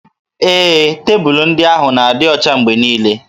Ee, tebụlụ ndị ahụ na-adị ọcha mgbe niile